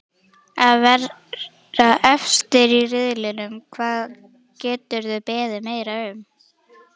Að vera efstir í riðlinum, hvað geturðu beðið meira um?